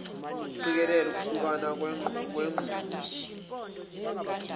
ukuqikekela ukuhlukana kwenqubo